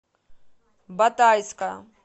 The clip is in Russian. батайска